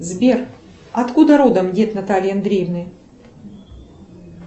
сбер от куда родом дед натальи андреевны